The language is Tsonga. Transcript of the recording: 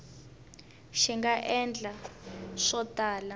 hi nga endla swo tala